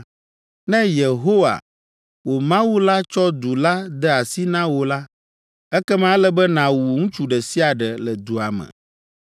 Ne Yehowa, wò Mawu la tsɔ du la de asi na wò la, ekema ele be nàwu ŋutsu ɖe sia ɖe le dua me,